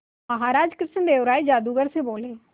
महाराज कृष्णदेव राय जादूगर से बोले